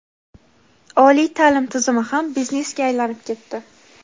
Oliy ta’lim tizimi ham biznesga aylanib ketdi.